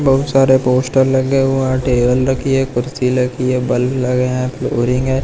बहुत सारे पोस्टर लगे हुए है टेबल रखी है कुर्सी लगी है बल्ब लगे है फ्लोरिंग है।